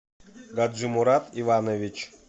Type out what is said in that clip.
гаджимурад иванович